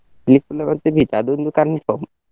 ಪಿಲಿಕುಳ ಮತ್ತೆ beach ಅದೊಂದು confirm .